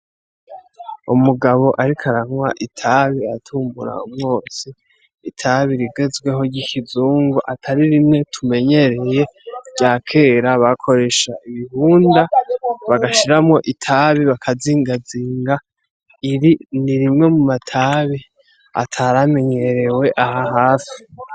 Umugabo, ariko aranywa itabi atumbura mwose itabi rigezweho ryikizu ngo atari rimwe tumenyereye rya kera bakoresha ibihunda bagashiramwo itabi bakazingazinga iri ni rimwe mu matabe ataramenyerewe we aha hasi.